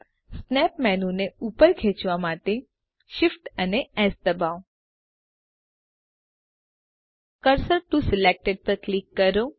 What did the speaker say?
snap menu ને ઉપર ખેચવા માટે Shift અને એસ દબાવો કર્સર ટીઓ સિલેક્ટેડ પર ક્લિક કરો